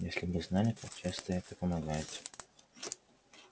если бы вы знали как часто это помогает